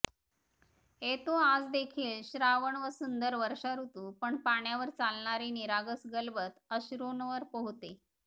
येतो आज देखील श्रावण व सुंदर वर्षा ऋतू पण पाण्यावर चालणारे निरागस गलबत अश्रूंवर पोहते